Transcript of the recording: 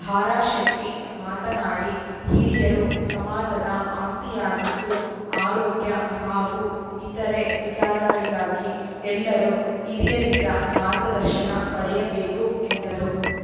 ಭಾರಶೆಟ್ಟಿಮಾತನಾಡಿ ಹಿರಿಯರು ಸಮಾಜದ ಆಸ್ತಿಯಾಗಿದ್ದು ಆರೋಗ್ಯ ಹಾಗೂ ಇತರೆ ವಿಚಾರಗಳಿಗಾಗಿ ಎಲ್ಲರೂ ಹಿರಿಯರಿಂದ ಮಾರ್ಗದರ್ಶನ ಪಡೆಯಬೇಕು ಎಂದರು